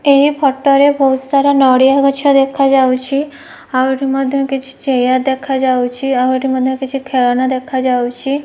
ଏହି ଫଟୋ ରେ ବହୁତ୍ ସାରା ନଡିଆ ଗଛ ଦେଖାଯାଉଛି ଆଉ ଏଠି ମଧ୍ୟ କିଛି ଚେୟାର ଦେଖାଯାଉଛି ଆଉ ଏଠି ମଧ୍ୟ କିଛି ଖେଳଣା ଦେଖାଯାଉଛି।